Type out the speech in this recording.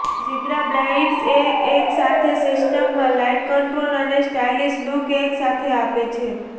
zebra blinds એ એક જ સિસ્ટમમાં લાઈટ કંટ્રોલ અને સ્ટાઈલિશ લુક એક સાથે આપે છે